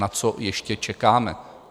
Na co ještě čekáme?